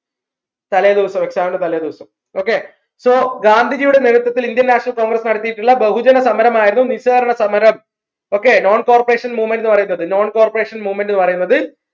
തലേദിവസം exam ന്റെ തലേദിവസം okay so ഗാന്ധിജിയുടെ നേതൃത്വത്തിൽ Indian national congress നടത്തിയിട്ടുള്ള ബഹുജന സമരമായിരുന്നു നിസ്സഹകരണ സമരം okay non corporation movement ന്ന് പറയുന്നത് non corporation movement ന്ന് പറയുന്നത്